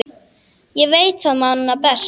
Ég veit það manna best.